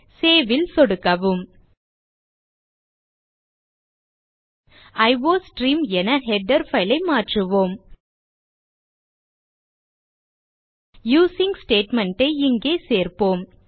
save ல் சொடுக்கவும் iostream என ஹெடர் பைல் ஐ மாற்றுவோம் யூசிங் ஸ்டேட்மெண்ட் ஐ இங்கே சேர்ப்போம்